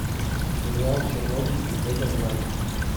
сериал чернобыль смотреть онлайн